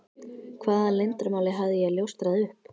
Hvaða leyndarmáli hafði ég ljóstrað upp?